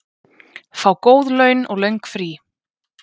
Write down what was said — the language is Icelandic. Fá góð laun og löng frí.